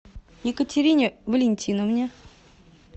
екатерине валентиновне